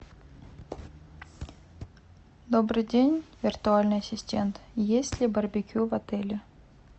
добрый день виртуальный ассистент есть ли барбекю в отеле